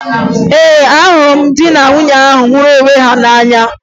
Ee, ahụrụ m di na nwunye ahụ hụrụ onwe ha n'anya